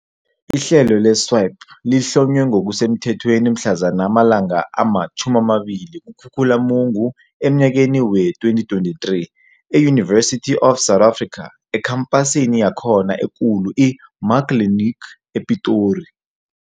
Ihlelo le-"SWiP" lihlonywe ngokusemthethweni mhlazana amalanga ama-20 kuKhukhulamungu emnyakeni wee-2023 e-University of South Africa eKhampasini yakhona eKulu i-Muckleneuk, ePitori.